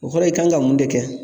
O kɔrɔ i kan ka mun de kɛ?